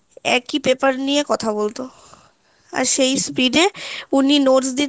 একই paper নিয়ে কথা বলতো আর সেই speed এ ঊনি notes দিতেন